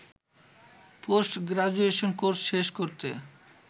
post graduation course শেষ করতে